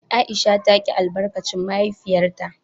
Aisha ta ki albarkacin mahaifiyarta.